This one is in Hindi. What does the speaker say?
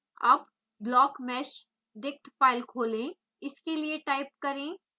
अब blockmeshdict file खोलें इसके लिए